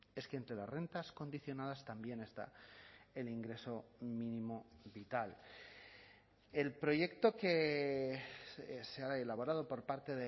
es que entre las rentas condicionadas también está el ingreso mínimo vital el proyecto que se ha elaborado por parte